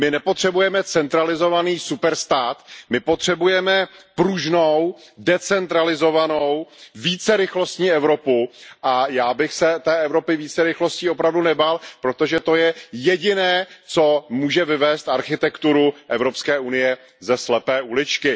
My nepotřebujeme centralizovaný superstát, my potřebujeme pružnou, decentralizovanou, vícerychlostní Evropu a já bych se té Evropy více rychlostí opravdu nebál, protože to je jediné, co může vyvést architekturu Evropské unie ze slepé uličky.